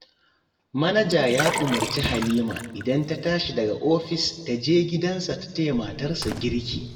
Manaja ya umarci Halima idan ta tashi daga ofis ta je gidansa ta taya matarsa girki